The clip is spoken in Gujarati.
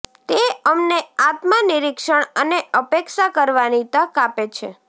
તે અમને આત્મનિરીક્ષણ અને અપેક્ષા કરવાની તક આપે છે